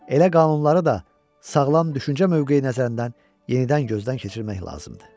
Elə qanunları da sağlam düşüncə mövqeyi nəzərindən yenidən gözdən keçirmək lazımdır.